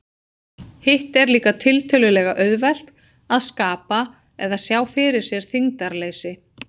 Hitt er líka tiltölulega auðvelt, að skapa eða sjá fyrir sér þyngdarleysi.